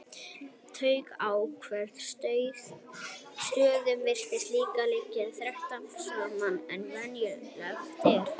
Taugafrumur á ákveðnum stöðum virtust líka liggja þéttar saman en venjulegt er.